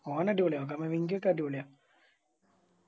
ഒനടിപൊളിയാ കമാവിൻചോക്കെ അടിപൊളിയാ